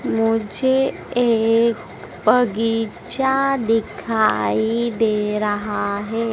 मुझे एक बगीचा दिखाई दे रहा है।